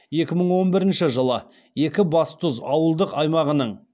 екі мың он бірінші жылы екібастұз ауылдық аймағының